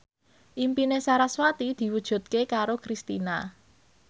impine sarasvati diwujudke karo Kristina